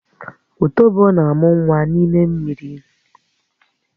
Ùtòbó na-ámu nwa n'ime mmiri